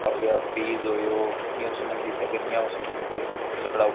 होया फ्रिज होयो कियूं संबंधित है गर्मियां ऊं संबंधित है सकलाओ --